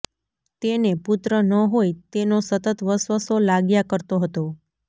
તેને પુત્ર ન હોય તેનો સતત વસવસો લાગ્યા કરતો હતો